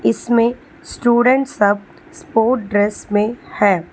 इसमें स्टूडेंट सब बहुतस्पोर्ट ड्रेस में है।